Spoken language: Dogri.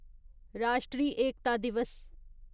राश्ट्रीय एकता दिवस